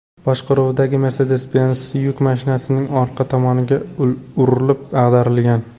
boshqaruvidagi Mercedes-Benz yuk mashinasining orqa tomoniga urilib, ag‘darilgan.